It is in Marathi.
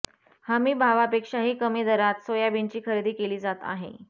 हमी भावापेक्षाही कमी दरात सोयाबीनची खरेदी केली जात आहे